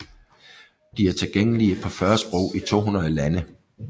De er tilgængelige på 40 sprog i 200 lande